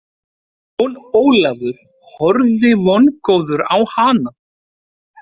Jón Ólafur horfði vongóður á hana.